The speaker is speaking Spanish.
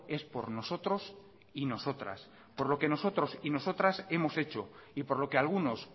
es por nosotros y nosotras por lo que nosotros y nosotras hemos hecho y por lo que algunos